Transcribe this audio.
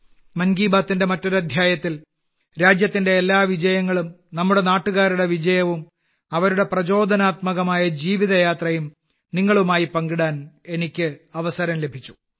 മറ്റൊരു എപ്പിസോഡിൽ രാജ്യത്തിന്റെ എല്ലാ വിജയങ്ങളും നമ്മുടെ നാട്ടുകാരുടെ വിജയവും അവരുടെ പ്രചോദനാത്മകമായ ജീവിതയാത്രയും നിങ്ങളുമായി പങ്കിടാൻ എനിക്ക് അവസരം ലഭിച്ചു